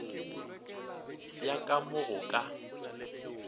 ya ka mo go ka